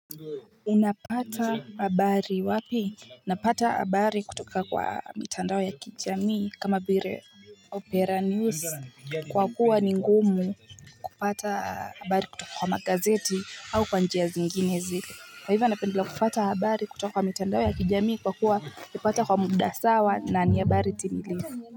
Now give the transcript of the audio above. Unapata habari wapi? Unapata habari kutoka kwa mitandao ya kijamii kama vile Opera News kwa kuwa ni ngumu kupata habari kutoka kwa magazeti au kwa njia zinginezi. Kwa hivyo napendelea kupata habari kutoka kwa mitandao ya kijamii kwa kuwa kupata kwa muda sawa na ni habari timilifu.